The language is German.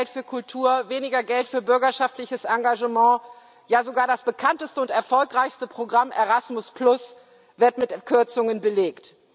Weniger Geld für Kultur, weniger Geld für bürgerschaftliches Engagement, ja sogar das bekannteste und erfolgreichste Programm, Erasmus, wird mit Kürzungen belegt.